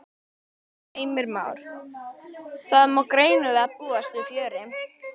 Heimir Már: Það má greinilega búast við fjöri?